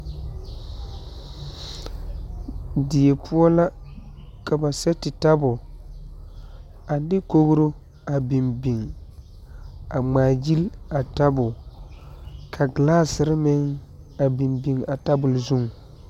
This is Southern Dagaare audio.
Die poɔ la ka ba set tabol a de kogri a biŋ biŋ a ŋmaa gyile a tabol ka galaaseere meŋ a biŋ biŋ a tabol zuŋ.